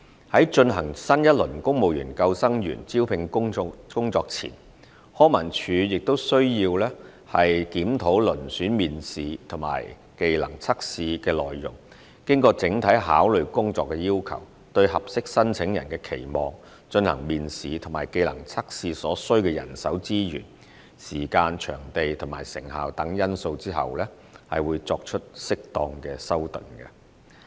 在進行新一輪公務員救生員招聘工作前，康文署亦需要檢討遴選面試及技能測試的內容，經整體考慮工作要求、對合適申請人的期望、進行面試及技能測試所需的人手資源、時間、場地和成效等因素後，作適當修訂。